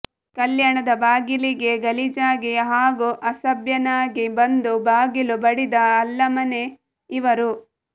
ಕಲ್ಯಾಣದ ಬಾಗಿಲಿಗೆ ಗಲೀಜಾಗಿ ಹಾಗೂ ಅಸಭ್ಯನಾಗಿ ಬಂದು ಬಾಗಿಲು ಬಡಿದ ಅಲ್ಲಮನೇ ಇವರು